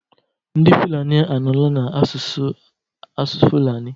Ndị Fulani anọla na-asụ asụsụ Fulani.